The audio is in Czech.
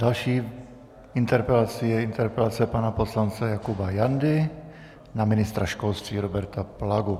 Další interpelací je interpelace pana poslance Jakuba Jandy na ministra školství Roberta Plagu.